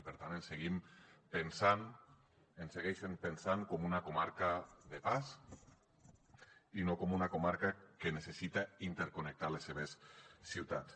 i per tant ens seguim pensant ens segueixen pensant com una comarca de pas i no com una comarca que necessita interconnectar les seves ciutats